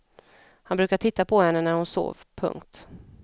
Han brukade titta på henne när hon sov. punkt